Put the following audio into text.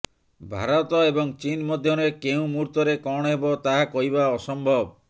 ଭାରତ ଏବଂ ଚୀନ ମଧ୍ୟରେ କେଉଁ ମୁହୂର୍ତ୍ତରେ କଣ ହେବ ତାହା କହିବା ଅସମ୍ଭବ